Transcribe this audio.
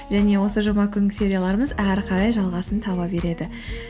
және осы жұма күнгі серияларымыз әрі қарай жалғасын таба береді